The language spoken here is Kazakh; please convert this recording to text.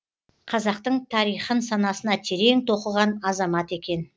қазақтың тарихын санасына терең тоқыған азамат екен